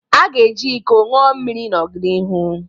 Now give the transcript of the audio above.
A ga-eji iko ṅụọ mmiri n'ọdịnịhu